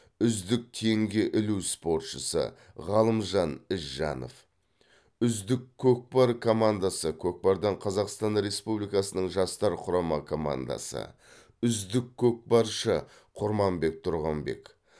үздік теңге ілу спортшысы ғалымжан ізжанов үздік көкпар командасы көкпардан қазақстан республикасының жастар құрама командасы үздік көкпаршы құрманбек тұрғанбек